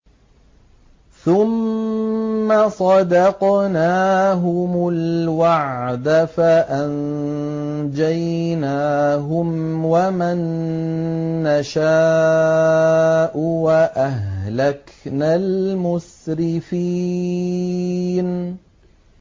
ثُمَّ صَدَقْنَاهُمُ الْوَعْدَ فَأَنجَيْنَاهُمْ وَمَن نَّشَاءُ وَأَهْلَكْنَا الْمُسْرِفِينَ